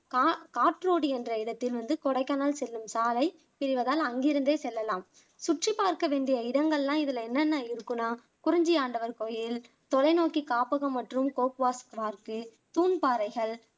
கா காற்றோடி என்ற இடத்தில் வந்து கொடைக்கானல் செல்லும் சாலை இதுல தான் அங்கிருந்தே செல்லலாம் சுற்றி பார்க்க வேண்டிய இடங்கள்லாம் இதுல என்னன்ன இருக்குன்னா குறிஞ்சி ஆண்டவர் கோயில், தொலைனோக்கி காப்பகம் மற்றும் கோக்கர்ஸ் வாக்கு, தூண் பாறைகள்